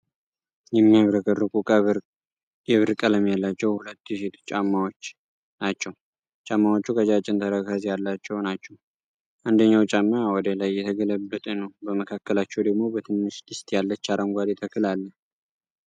የሚያብረቀርቁ፣ የብር ቀለም ያላቸው ሁለት የሴቶች ጫማዎች ናቸው። ጫማዎቹ ቀጫጭን ተረከዝ ያላቸው ናቸው፣ አንደኛው ጫማ ወደ ላይ የተገለበጠ ነው፤ በመካከላቸው ደግሞ በትንሽ ድስት ያለች አረንጓዴ ተክል አለ።